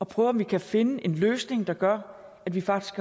prøve om vi kan finde en løsning der gør at vi faktisk